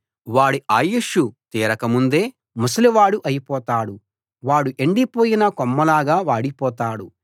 వాడి ఆయుష్షు తీరకముందే ముసలివాడు అయిపోతాడు వాడు ఎండిపోయిన కొమ్మలాగా వాడిపోతాడు